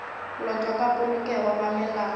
lotwa ka polokego ga melao